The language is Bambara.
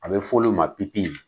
A bɛ f'ɔlu ma